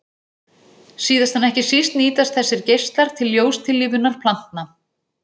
Síðast en ekki síst nýtast þessir geislar til ljóstillífunar plantna.